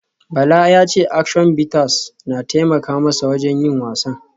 Bala ya ce Action Bitters na taimaka masa wajen yin wasan